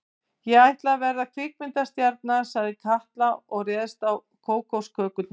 Ég ætla að verða kvikmyndastjarna sagði Kata og réðst á kókoskökurnar.